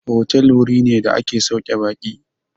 Otal wuri ne da ake sauke baƙi.